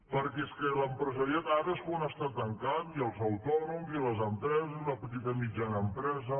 perquè és que l’empresariat ara és quan està tancant i els autònoms i les empreses i la petita i mitjana empresa